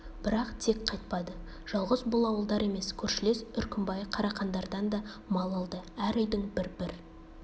бірақ тек қайтпады жалғыз бұл ауылдар емес көршілес үркімбай қарақандардан да мал алды әр үйдің бір-бір